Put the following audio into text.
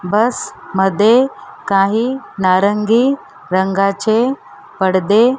बस मध्ये काही नारंगी रंगाचे पडदे --